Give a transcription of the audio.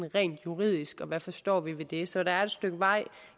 rent juridisk og hvad vi forstår ved det så der er et stykke vej